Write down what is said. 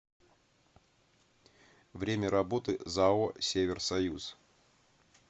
время работы зао север союз